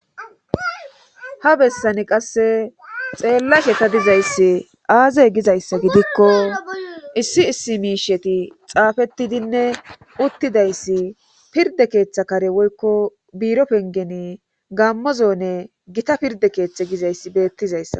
ha bessani qasse xeellashe ta dizayssi aaze gizayssa gidikko issi issi miisheti xaafetidinne uttidayssi pirde keeththa kare woykko biiro pengeni gammozone gita pirde keeththe gizayssi beettizayssa